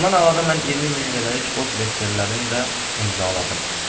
Bundan əlavə mən 20000 lirəlik borc veksellərini də imzaladım.